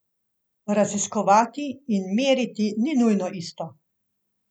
Raziskovati in meriti ni nujno isto.